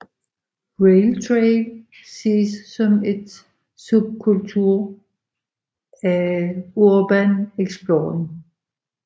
Rail trail ses som et subkultur af urban exploring